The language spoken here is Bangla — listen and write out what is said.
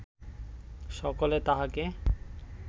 সকলে তাহাকে